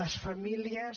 les famílies